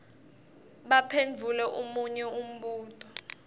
baphendvule munye umbuto